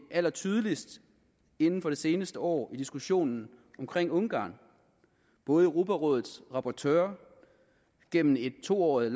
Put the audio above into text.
allertydeligst inden for det seneste år i diskussionen omkring ungarn både europarådets rapportør gennem et to årig